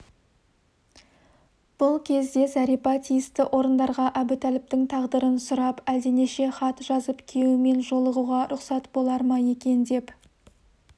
бұл кезде зәрипа тиісті орындарға әбутәліптің тағдырын сұрап әлденеше хат жазып күйеуімен жолығуға рұқсат болар ма екен деп